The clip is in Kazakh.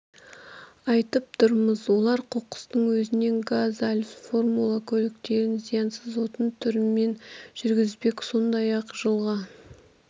айтып тұрмыз олар қоқыстың өзінен газ алып формула көліктерін зиянсыз отын түрімен жүргізбек сондай-ақ жылға